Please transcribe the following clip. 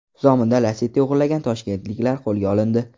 Zominda Lacetti o‘g‘irlagan toshkentliklar qo‘lga olindi.